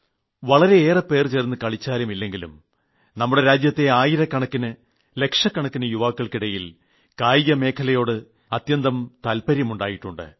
വളരെയേറെപേർ ചേർന്ന് കളിച്ചാലും ഇല്ലെങ്കിലും നമ്മുടെ രാജ്യത്തെ ആയിരക്കണക്കിന് ലക്ഷക്കണക്കിന് യുവാക്കൾക്കിടയിൽ കായിക മേഖലയോട് അത്യധികം താൽപര്യമുണ്ടായിട്ടുണ്ട്